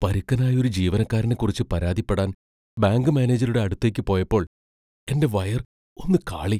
പരുക്കനായ ഒരു ജീവനക്കാരനെക്കുറിച്ച് പരാതിപ്പെടാൻ ബാങ്ക് മാനേജരുടെ അടുത്തേക്ക് പോയപ്പോൾ എന്റെ വയർ ഒന്ന് കാളി .